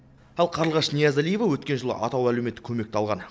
ал қарлығаш ниязалиева өткен жылы атаулы әлеуметтік көмекті алған